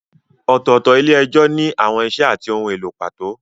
Ọ̀tọ̀ọ̀tọ̀ ilé-ẹjọ́ ní àwọn ìṣe àti ohun èlò pàtó.